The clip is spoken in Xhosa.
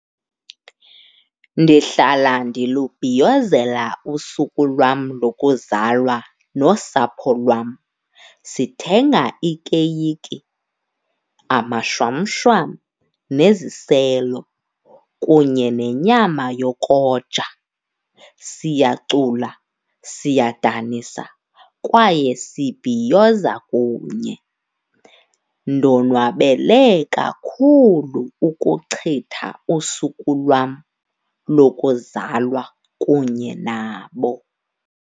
Ndihlala ndilubhiyozela usuku lwam lokuzalwa nosapho lwam. Sithenga ikeyiki, amashwamshwam neziselo kunye nenyama yokoja. Siyacula, siyadanisa kwaye sibhiyoza kunye. Ndonwabele kakhulu ukuchitha usuku lwam lokuzalwa kunye nabo.